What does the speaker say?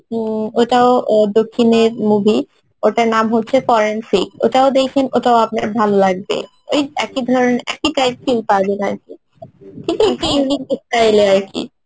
উম ওটাও দক্ষিণের movie নাম হচ্ছে forensic ওটাও দেখেন ওটাও আপনার ভাল লাগবে ওই একই ধরনের একই type feel পাবেন আরকি style এর আরকি